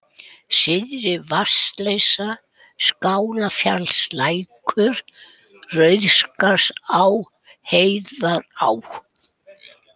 Syðri-Vatnsleysa, Skálafjallalækur, Rauðskarðsá, Heiðará